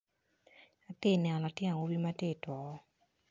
Atye ka neno latin awobi matye ituku